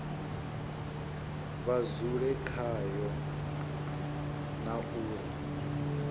vha dzule khayo na uri